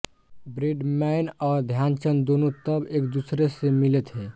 Bradman और ध्यानचंद दोनों तब एकदूसरे से मिले थे